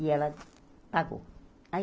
E ela pagou. Aí